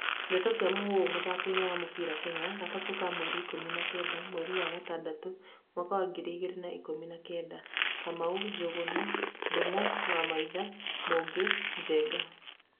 Ndeto cia Mũhuhu, mũthakoini wa mũbĩra Kenya, gatatũ ka mweri ikũmi na kenda, mweri wa gatandatũ, mwaka wa ngiri igĩrĩ na ikumi na kenda:Kamau, Njugunaa, Ndungu, Kamau, Wamaitha ,Mugi, Njenga.